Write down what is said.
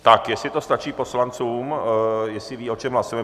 Tak jestli to stačí poslancům, jestli vědí, o čem hlasujeme.